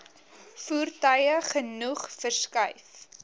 voertuie genoeg verskuif